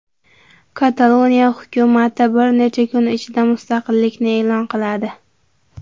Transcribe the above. Kataloniya hukumati bir necha kun ichida mustaqillikni e’lon qiladi.